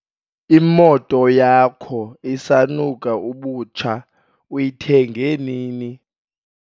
Imoto yakho isanuka ubutsha, uyithenge nini?